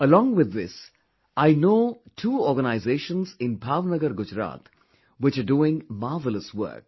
Along with this I know two organisations in Bhav Nagar, Gujarat which are doing marvellous work